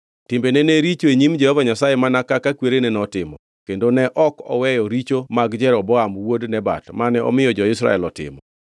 Timbene ne richo e nyim Jehova Nyasaye mana kaka kwerene notimo, kendo ne ok oweyo richo mag Jeroboam wuod Nebat mane omiyo jo-Israel otimo.